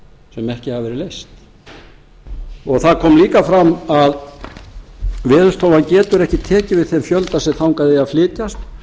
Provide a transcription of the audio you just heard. sem ekki hafa verið leyst það kom líka fram að veðurstofan getur ekki tekið við þeim fjölda sem þangað eiga að flytjast